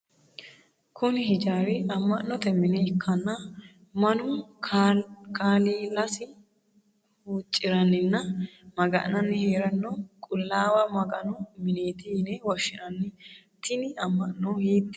Kunni hijaari ama'note mine ikanna Manu kaaliiasi huuciranninna maga'nanni heerano qulaawa maganu mineeti yine woshinnanni tinni ama'no hiitene ama'nootiro kuli?